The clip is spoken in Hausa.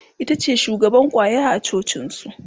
itace shugaban kwaya a cocin su